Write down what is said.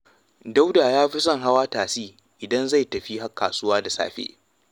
Dauda ya fi son hawa tasi idan zai tafi kasuwa da safe